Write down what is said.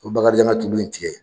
Ko Bakarijan ka tulu in tigɛ.